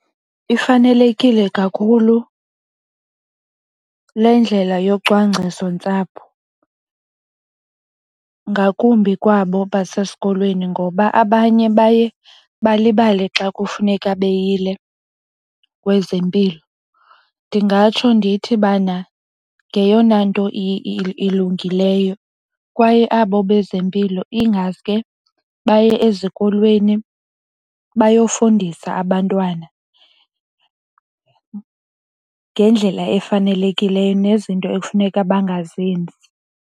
Ifanelekile kakhulu le ndlela yocwangcisontsapho ngakumbi kwabo basesikolweni ngoba abanye baye balibale xa kufuneka beyile kwezempilo. Ndingatsho ndithi bana ngeyona nto ilungileyo, kwaye abo bezempilo ingaske baye ezikolweni bayofundisa abantwana ngendlela efanelekileyo nezinto ekufuneka bengazenzi.